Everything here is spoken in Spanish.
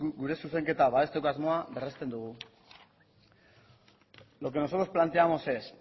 gure zuzenketa babesteko asmoa berresten dugu lo que nosotros planteamos es